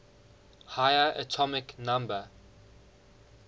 higher atomic number